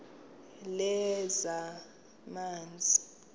lezamanzi